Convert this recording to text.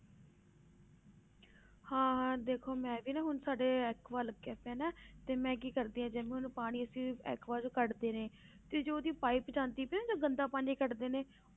ਹਾਂ ਹਾਂ ਦੇਖੋ ਮੈਂ ਵੀ ਨਾ ਹੁਣ ਸਾਡੇ ਐਕੂਆ ਲੱਗਾ ਪਿਆ ਨਾ ਤੇ ਮੈਂ ਕੀ ਕਰਦੀ ਹਾਂ ਜਿਵੇਂ ਹੁਣ ਪਾਣੀ ਐਕੂਆ ਚੋਂ ਕੱਢਦੇ ਨੇ ਤੇ ਜੋ ਉਹਦੀ ਪਾਇਪ ਜਾਂਦੀ ਪਈ ਆ ਨਾ ਜਦ ਗੰਦਾ ਪਾਣੀ ਕੱਢਦੇ ਨੇ